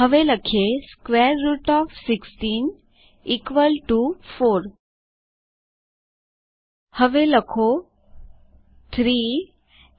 હવે લખીએ square root of 16 4 હવે લખીએ 3